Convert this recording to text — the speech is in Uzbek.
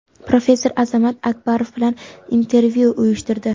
professor Azamat Akbarov bilan intervyu uyushtirdi.